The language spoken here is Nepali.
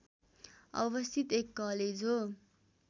अवस्थित एक कलेज हो